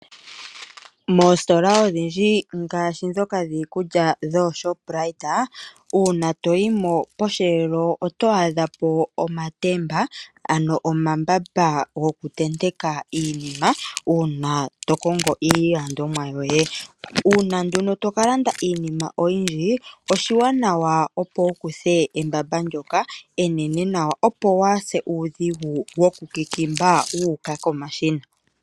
Moositola odhindji ngaashi ndhoka dhiikulya dhooShoprite, uuna to yi mo posheelo oto adha po omatemba ano omambamba go ku tenteka iinima uuna to kongo iilandomwa yoye. Uuna nduno to ka landa iinima oyindji oshiwanawa opo wu kuthe embamba ndyoka enene nawa opo waase uudhigu woku kikimba wu uka komashina.